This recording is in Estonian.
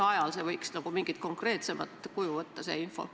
Mis ajal see info võiks mingit konkreetsemat kuju võtta?